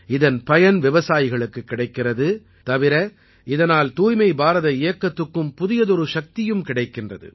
இதன் பயன் விவசாயிகளுக்கு கிடைக்கிறது தவிர இதனால் தூய்மை பாரத இயக்கத்துக்கும் புதியதொரு சக்தியும் கிடைக்கிறது